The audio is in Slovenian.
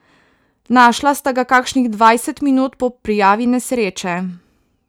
Našla sta ga kakšnih dvajset minut po prijavi nesreče.